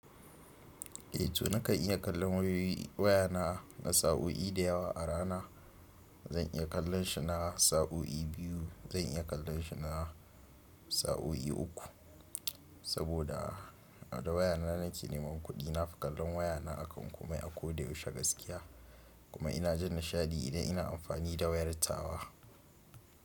Eh to nakan iya kallon waya na na sa'o'i da yawa a rana. Zan iya kallon shi na sa'o'i biyu, zan iya kallon shi na sa'o'i uku. Saboda da waya na nake neman kuɗi, na fi kallon waya na akan komai a ko da yaushe gaskiya. Kuma ina jin nishaɗi idan ina amfani da wayar tawa.